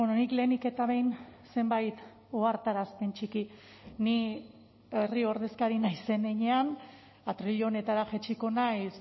nik lehenik eta behin zenbait ohartarazpen txiki ni herri ordezkari naizen heinean atril honetara jaitsiko naiz